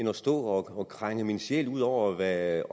af at stå og krænge min sjæl ud over hvad